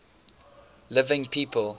living people